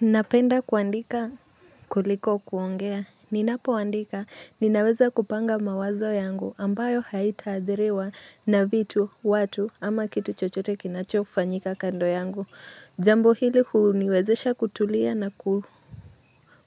Napenda kuandika kuliko kuongea. Ninapoandika, ninaweza kupanga mawazo yangu ambayo haitaadhiriwa na vitu, watu, ama kitu chochote kinachofanyika kando yangu. Jambo hili huu niwezesha kutulia na